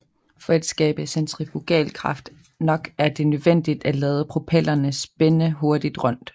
For at skabe centrifugalkraft nok er det nødvendigt at lade propellerne spinde hurtigt rundt